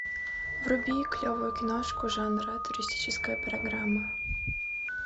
вруби клевую киношку жанра туристическая программа